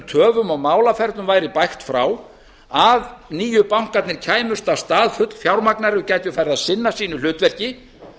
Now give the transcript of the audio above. töfum og málaferlum væri bægt frá að nýju bankarnir kæmust af stað fullfjármagnaðir og gætu farið að sinna sínu hlutverki